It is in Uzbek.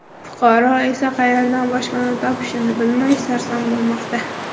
Fuqaro esa qayerdan boshpana topishini bilmay sarson bo‘lmoqda.